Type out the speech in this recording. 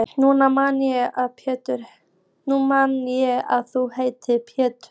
Nú man ég að þú heitir Pétur!